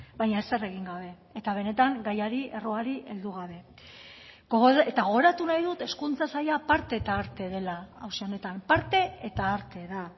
baina ezer egin gabe eta benetan gaiari erroari heldu gabe eta gogoratu nahi dut hezkuntza saila parte eta arte dela auzi honetan parte eta arte da